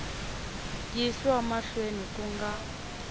yi yisiwa mahlweni ku nga